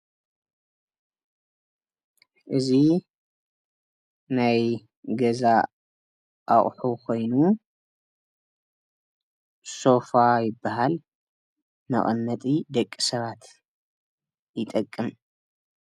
እዚ ናይ ገዛ ኣቁሑ ኮይኑ ሶፋ ይባሃል፡፡ መቐመጢ ደቒ ሰባት ይጠቅም፡፡